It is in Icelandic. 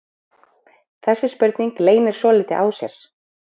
Þessi spurning leynir svolítið á sér.